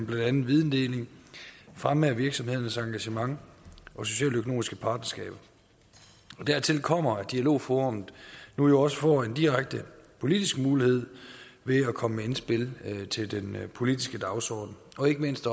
blandt andet videndeling fremme af virksomhedernes engagement og socialøkonomiske partnerskaber dertil kommer at dialogforum nu også får en direkte politisk mulighed ved at komme med indspil til den politiske dagsorden og ikke mindst